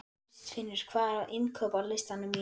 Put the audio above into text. Kristfinnur, hvað er á innkaupalistanum mínum?